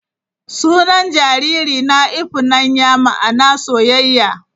Sunan jaririna 'Ifunanya' ma'ana soyayya.